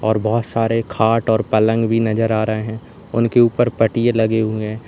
और बहोत सारे खाट और पलंग भी नजर आ रहे हैं उनके ऊपर पटिए लगे हुए हैं।